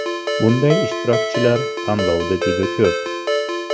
Bunday ishtirokchilar tanlovda juda ko‘p.